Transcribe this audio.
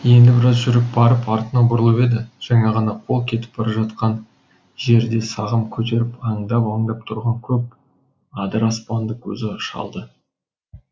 енді біраз жүріп барып артына бұрылып еді жаңа ғана қол кетіп бара жатқан жерде сағым көтеріп аңдап аңдап тұрған көп адыраспанды көзі шалды